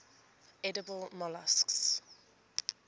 edible molluscs